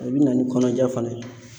O bɛ na ni kɔnɔja fana ye.